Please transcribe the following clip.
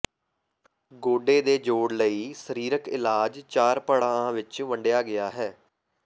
ਗੋਡੇ ਦੇ ਜੋੜ ਲਈ ਸਰੀਰਕ ਇਲਾਜ ਚਾਰ ਪੜਾਆਂ ਵਿਚ ਵੰਡਿਆ ਗਿਆ ਹੈ